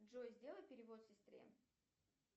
джой сделай перевод сестре